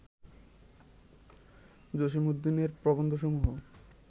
জসীমউদ্দীনের প্রবন্ধসমূহ